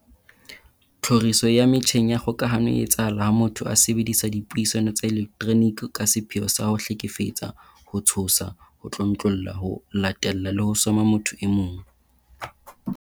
Tlhoriso ya metjheng ya kgokahano e etsahala ha motho a sebedisa dipuisano tsa elektroniki ka sepheo sa ho hlekefetsa, ho tshosa, ho tlontlolla, ho latella le ho soma motho e mong.